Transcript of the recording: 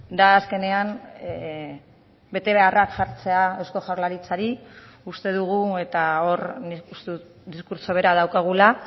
da azkenean betebeharrak jartzea eusko jaurlaritzari uste dugu eta hor nik uste dut diskurtso bera daukagula